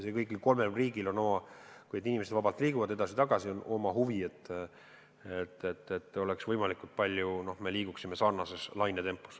Ja kõigil kolmel riigil, kui inimesed vabalt edasi-tagasi liiguvad, on oma huvi, et me kulgeksime võimalikult sarnases lainetempos.